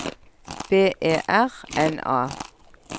B E R N A